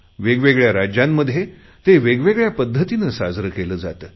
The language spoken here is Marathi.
वेगवेगळ्या राज्यांमध्ये ते वेगवेगळ्या पद्घतीने साजरे केले जाते